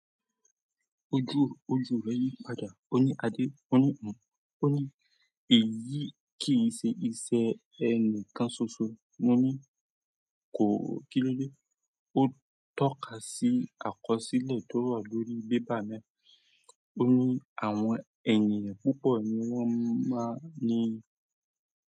Ojú, orí tiẹ o fẹ yi padà. Ó ní Adé, ó ní òun, ó ní èyí kì í ṣe iṣẹ́ ẹni kan ṣoṣo. Mo ní kò kilode. O tọ́ka si àkọsílẹ̀ to wa lórí paper náà. Ó ní àwọn ènìyàn púpọ̀ ni wọ́n máa ń ní.